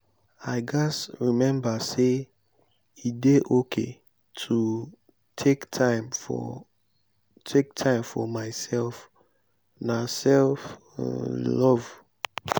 i gats remember say e dey okay to take time for take time for myself; na self-love.